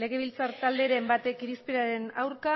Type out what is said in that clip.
legebiltzar talderen batek irizpenaren aurka